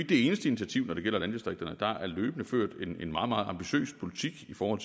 det eneste initiativ når det gælder landdistrikterne der er løbende ført en meget meget ambitiøs politik for